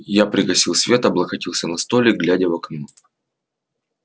я пригасил свет облокотился на столик глядя в окно